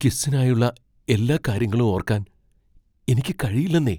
ക്വിസ്സിനായുള്ള എല്ലാ കാര്യങ്ങളും ഓർക്കാൻ എനിക്ക് കഴിയില്ലെന്നേ.